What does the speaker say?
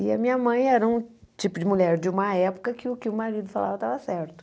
E a minha mãe era um tipo de mulher de uma época que o que o marido falava estava certo.